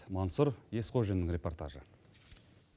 мансұр есқожиннің репортажы